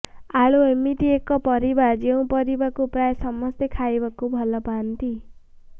ଆଳୁ ଏମିତି ଏକ ପରିବା ଯେଉଁ ପରିବାକୁ ପ୍ରାୟ ସମସ୍ତେ ଖାଇବାକୁ ଭଲପାଇଥାନ୍ତି